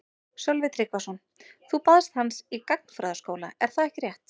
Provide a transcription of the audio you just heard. Sölvi Tryggvason: Þú baðst hans í gagnfræðaskóla er það ekki rétt?